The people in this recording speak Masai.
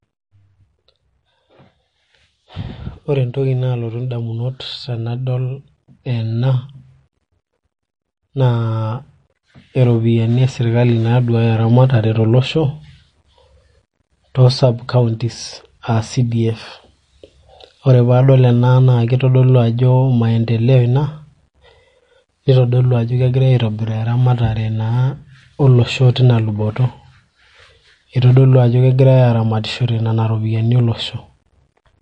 ore entoki naalotu idamunot tenadol ena naa iropiyiani esirikali naa duaya eramatare tolosho too sub counties aa CDF, ore pee adol ena naa kitodolu ajo maendeleo ina nitodolu ajo kegirai aitobiraa eramatare naa olosho teinaalo, kitodolu ajo kegirai aramatishore iropiyiani tinaalo.